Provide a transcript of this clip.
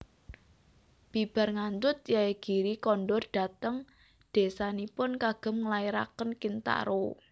Bibar ngandhut Yaegiri kondur dhateng désanipun kagem nglairaken Kintaro